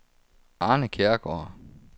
Arne Kjærgaard